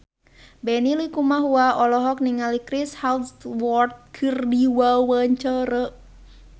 Benny Likumahua olohok ningali Chris Hemsworth keur diwawancara